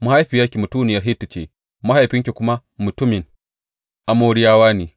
Mahaifiyarki mutuniyar Hitti ce, mahaifinki kuma mutumin Amoriyawa ne.